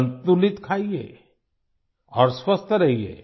संतुलित खाईये और स्वस्थ रहिये